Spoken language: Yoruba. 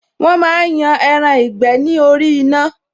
Wọn máa ń yan ẹran ìgbẹ́ ni orí iná ni